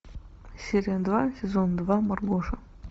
серия два сезон два маргоша